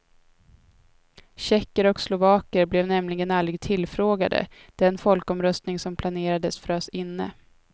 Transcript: Tjecker och slovaker blev nämligen aldrig tillfrågade; den folkomröstning som planerades frös inne.